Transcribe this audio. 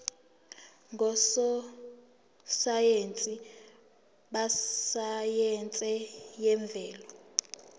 ngososayense besayense yemvelo